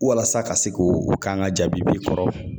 Walasa ka se k'o kan ka jaabi i kɔrɔ